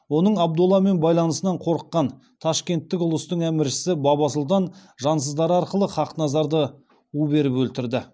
оның абдулламен байланысынан қорыққан ташкенттің ұлыстық әміршісі баба сұлтан жансыздары арқылы хақназарды у беріп өлтірді